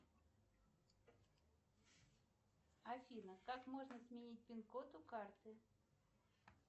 афина как можно сменить пин код у карты